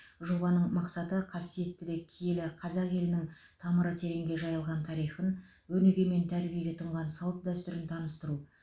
жобаның мақсаты қасиетті де киелі қазақ елінің тамыры тереңге жайылған тарихын өнеге мен тәрбиеге тұнған салт дәстүрін таныстыру